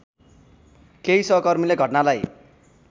केही सहकर्मीले घटनालाई